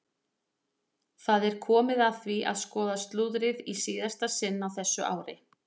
Það er komið að því að skoða slúðrið í síðasta sinn á þessu ári!